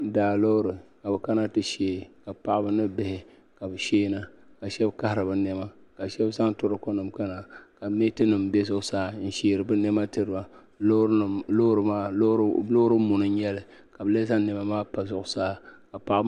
Daa loori ka bi kana ti shee ka paɣaba ni bihi ka shee na ka shɛba kahari bi nɛma ka shɛba zaŋ toroko nima kana ka mɛɛti nima bɛ zuɣusaa n sheeri bi nɛma tiri ba loori maa loori muni n nyɛli ka bi lee zaŋ nɛma maa pa zuɣusaa ka paɣaba.